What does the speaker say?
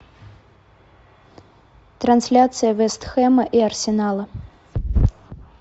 трансляция вест хэма и арсенала